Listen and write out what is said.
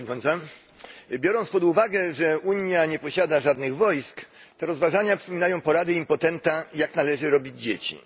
Pani Przewodnicząca! Biorąc pod uwagę, że Unia nie posiada żadnych wojsk, te rozważania przypominają porady impotenta, jak należy robić dzieci.